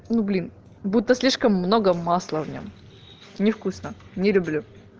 ну блин будто слишком много масла в нём невкусно не люблю